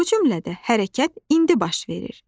Bu cümlədə hərəkət indi baş verir.